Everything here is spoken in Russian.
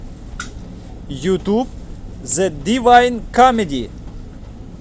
ютуб зэ дивайн камеди